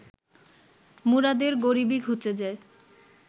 মুরাদের গরিবি ঘুচে যায়